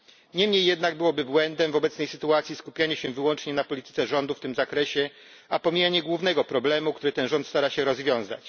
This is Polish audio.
Niemniej jednak byłoby błędem w obecnej sytuacji skupienie się wyłącznie na polityce rządu w tym zakresie, a pomijanie głównego problemu, który ten rząd stara się rozwiązać.